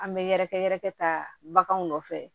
An bɛ yɛrɛkɛ yɛrɛkɛ takanw nɔfɛ